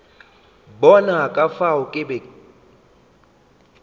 bona ka fao ke be